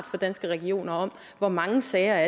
fra danske regioner om hvor mange sager